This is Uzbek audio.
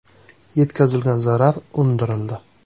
Yetkazilgan zarar undirildi.